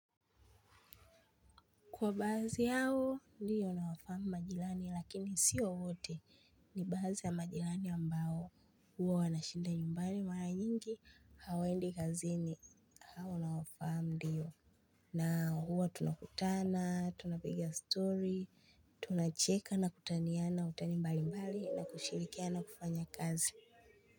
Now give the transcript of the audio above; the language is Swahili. Kwa baadhi yao ndiyo nawafahamu majilani lakini siyo wote ni baadhi ya majilani ambao huo wanashinda nyumbani mara nyingi hawaendi kazini hao nawafahamu ndiyo. Na huwa tunakutana, tunapiga story, tunacheka na kutaniana utani mbalimbali na kushirikia lna kufanya kazi.